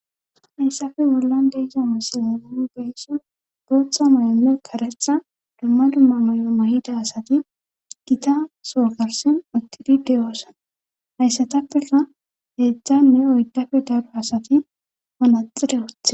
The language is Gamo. Hayssafe bollan deega masilerau geysso gootha mayome karexa dumma dumma may7o mayida asati gita sookarsin uttidi deyosan hayssatappeka heedzdzanne oyddafe daro asati onaxide oothe